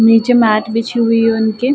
नीचे मैट बिछी हुई है उनके।